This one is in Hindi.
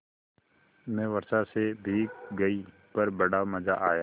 मैं वर्षा से भीग गई पर बड़ा मज़ा आया